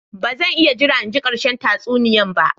Ba zan iya jira in ji ƙarshen tatsuniya ba.